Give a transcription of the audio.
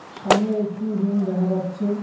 সামনে একটি রুম দেখা যাচ্ছে।